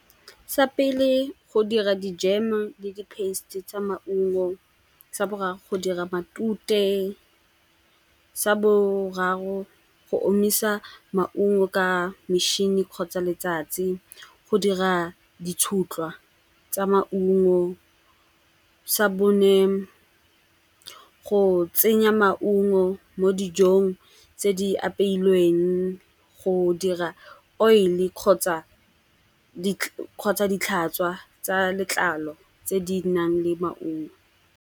Sa pele go dira dijeme le di paste-e tsa maungo. Sa boraro go dira matute sa boraro go omisa maungo ka metšhini kgotsa letsatsi, go dira ditshutlwa tsa maungo. Sa bone go tsenya maungo mo dijong tse di apeilweng go dira oil-e kgotsa ditlhatswa tsa letlalo tse di nang le maungo.